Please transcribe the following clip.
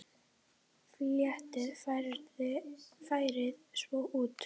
Fletjið lærið svo út.